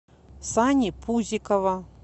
сани пузикова